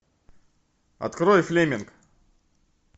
открой флеминг